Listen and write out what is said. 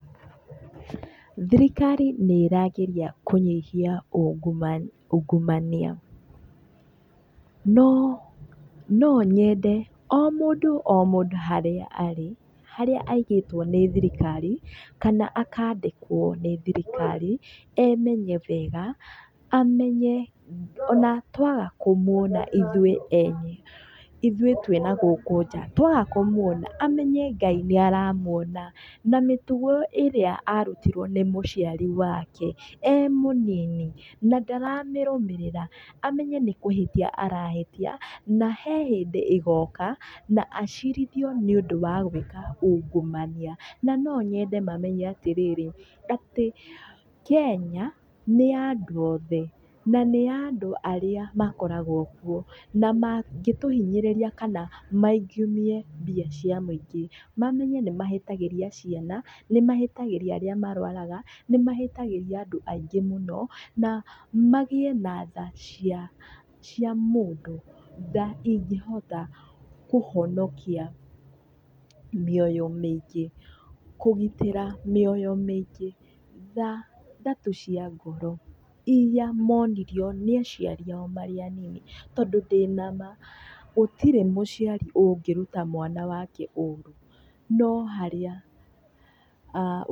Thirikari nĩ ĩrageria kũnyihia ungumania, no no nyende o mũndũ o mũndũ harĩa arĩ harĩa aigĩtwo nĩ thirikari kana akandĩkũo nĩ thirikari emenye wega amenye ona tũaga kũmuona ithuĩ ene ithuĩ twĩ nagũkũ nja twaga kũmuona amenye Gai nĩ aramuona. Na mĩtugo ĩrĩa arutirwo nĩ mũciari wake ee mũnini na ndaramĩrũmĩrĩra, amenye nĩ kũhĩtia arahĩtia na he hĩndĩ ĩgoka na acirithio nĩũndũ wa gwĩka ungumania. Na no nyende mamenye atĩrĩrĩ atĩ Kenya nĩ ya andũ othe na nĩ ya andũ arĩa makoragwo kuo na magĩtũhinyĩrĩria kana maugumie mbia cia mũingĩ, mamenye nĩ mahĩtagĩria ciana, nĩ mahĩtagĩria arĩa marwaraga, nĩ mahĩtagĩria andũ aingĩ mũno na magiĩ na thaa cia mũndũ, tha ingĩhota kũhonokia mĩoyo mĩingĩ, kũgitĩra mĩoya mĩingĩ, tha, tha tu cia ngoro irĩa monirio nĩ aciari ao marĩ anini tondũ ndĩna ma gũtĩrĩ mũciari ũngĩruta mwana wake ũũru no harĩa...